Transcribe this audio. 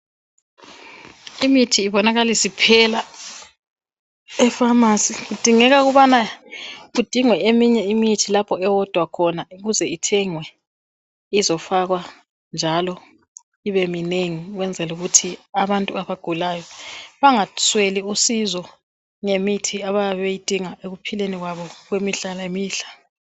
Imithi ibonakala isiphela epharmacy .Kudingeka ukubana kudingwe eminye imithi lapho ewodwa khona ukuze ithengwe izofakwa .Njalo ibe minengi ukwenzelu kuthi abantu abagulayo bangasweli usizo ngemithi abayabe beyidinga ekuphileni kwabo kwemihla lemihla .